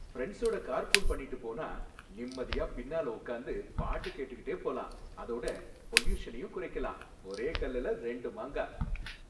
ஃபிரண்ட்ஸோட carpool பண்ணிட்டு போனா நிம்மதியா பின்னால உக்காந்து பாட்டு கேட்டுகிட்டே போலாம், அதோட பொல்யூஷனையும் குறைக்கலாம். ஒரே கல்லுல ரெண்டு மாங்கா.